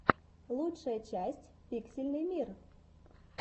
лучшая часть пиксельный мир